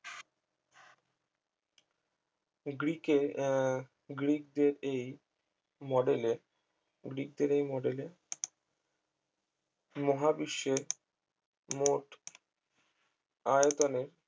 গ্রিকের আহ গ্রিকদের এই model এ গ্রিকদের এই model এ মহাবিশ্বের মোট আয়তনে